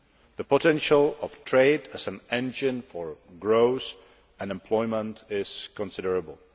The potential of trade as an engine for growth and employment is considerable.